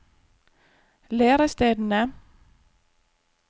lærestedene